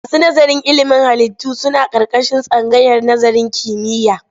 Masu nazarin ilimin halittu suna ƙarƙashin tsangayar nazarin kimiyya.